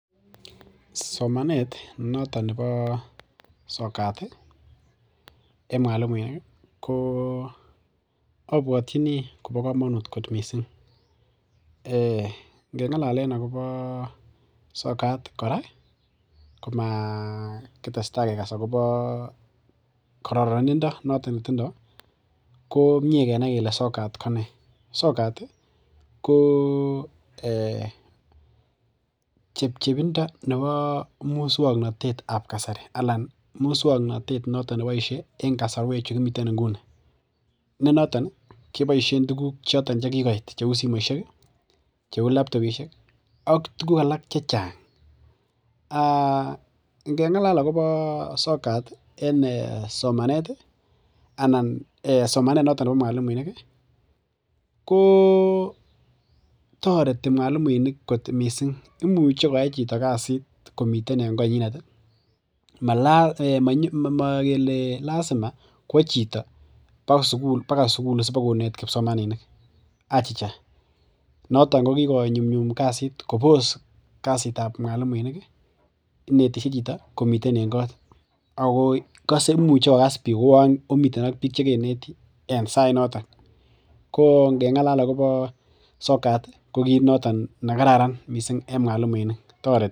somanet noton nepo sokat en mwalimueki ko abwotyini kobo komonut missing ngengalalen akobo sokat kora komakitesta kekas akobo kororindo noto netindo komie kenai kele sokat kone sokati ko ee chepchepindo nebo muswoknatet ap kasari alan muswoknatet ab kasari alan muswoknatet noton neboishe en kosorwek chukimiten en nguni nenoton keboishen tuguk chekikoit cheu simoishek laptopishek ak tuguk alak chechang aa ngengalal akobo sokat en somaneti anan somanet notok nepo mwalimuiniki koo toreti mwalimuinik kot mising imuche koyai chito kazit komiten en konyinet um mogele lasima kwo chito baka sugul sipakonet kipsomaninik achicha noton kokikonyumnyum kasit kobos kazitab mwalimuinik inetishe chito komiten en kot akoimuche kokas biik kouon omiten biik chekeneten en sainoton kko ngengalal akobo sokati kokit noton nekaran en mwalimunik toreti